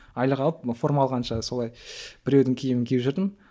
айлық алып форма алғанша солай біреудің киімін киіп жүрдім